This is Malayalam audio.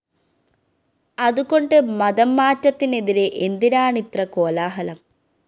അതുകൊണ്ട് മതംമാറ്റത്തിനെതിരെ എന്തിനാണിത്ര കോലാഹലം